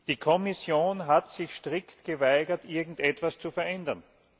Die Kommission hat sich strikt geweigert, irgendetwas zu verändern!